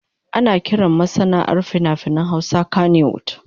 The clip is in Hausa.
Ana kiran masana'antar fina-finan Hausa kannywood.